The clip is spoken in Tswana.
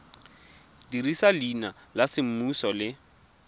dirisa leina la semmuso le